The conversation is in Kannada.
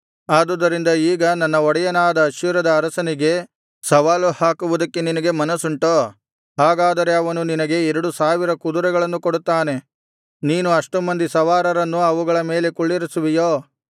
ಆದುದರಿಂದ ಈಗ ನನ್ನ ಒಡೆಯನಾದ ಅಶ್ಶೂರದ ಅರಸನಿಗೆ ಸವಾಲು ಹಾಕುವುದಕ್ಕೆ ನಿನಗೆ ಮನಸ್ಸುಂಟೋ ಹಾಗಾದರೆ ಅವನು ನಿನಗೆ ಎರಡು ಸಾವಿರ ಕುದುರೆಗಳನ್ನು ಕೊಡುತ್ತಾನೆ ನೀನು ಅಷ್ಟು ಮಂದಿ ಸವಾರರನ್ನು ಅವುಗಳ ಮೇಲೆ ಕುಳ್ಳಿರಿಸುವಿಯೋ